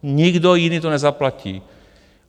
Nikdo jiný to nezaplatí.